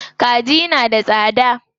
Kaji na da tsada.